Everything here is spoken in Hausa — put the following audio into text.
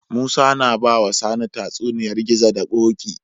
Musa na bawa sani tatsuniyar gizo da koki